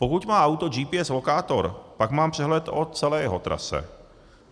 Pokud má auto GPS lokátor, pak mám přehled o celé jeho trase.